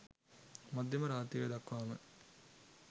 මධ්‍යම රාත්‍රිය දක්වාම